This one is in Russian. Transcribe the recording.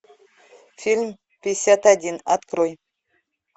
фильм пятьдесят один открой